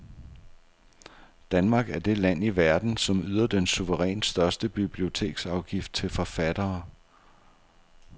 Danmark er det land i verden, som yder den suverænt største biblioteksafgift til forfattere.